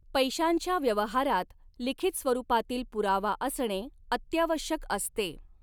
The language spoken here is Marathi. पैशांच्या व्यवहारांत लिखित स्वरूपातील पुरावा असणे अत्यावश्यक असते.